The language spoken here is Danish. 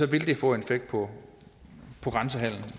vil det få en effekt på grænsehandelen